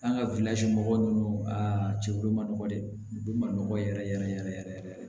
An ka mɔgɔw a cɛlu ma nɔgɔ dɛ olu ma nɔgɔ yɛrɛ yɛrɛ yɛrɛ yɛrɛ